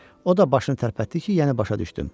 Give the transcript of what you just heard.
O da başını tərpətdi ki, yəni başa düşdüm.